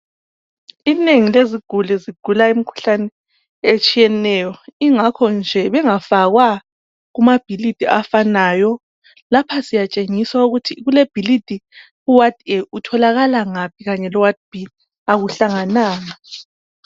Inengi leziguli ligula imikhuhlane etshiyeneyo ingakho nje bengafakwa kumabhilidi afanayo lapha siyatshengiswa ukuthi kule bhilidi u award A utholakala ngaphi kanye lo ward B akuhlangananga .